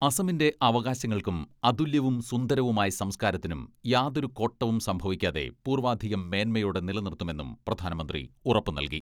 അസമിന്റെ അവകാശങ്ങൾക്കും അതുല്യവും സുന്ദരവുമായ സംസ്കാരത്തിനും യാതൊരു കോട്ടവും സംഭവിക്കാതെ പൂർവ്വാധികം മേന്മയോടെ നിലനിർത്തുമെന്നും പ്രധാനമന്ത്രി ഉറപ്പു നൽകി.